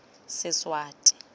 seswati